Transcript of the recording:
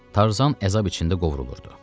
Tarzan əzab içində qovrulurdu.